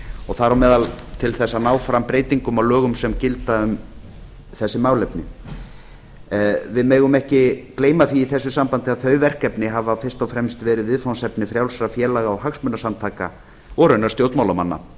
og þar á meðal til að ná fram breytingum á lögum sem gilda um þessi málefni við megum ekki gleyma því í þessu sambandi að þau verkefni hafa fyrst og fremst verið viðfangsefni frjálsra félaga og hagsmunasamtaka og raunar stjórnmálamanna